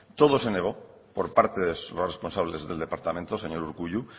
todo se negó por parte de los responsables del departamento señor urkullu